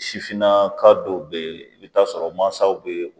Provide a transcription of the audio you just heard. Sifinna ka dɔw be yen i bi t'a sɔrɔ mansaw be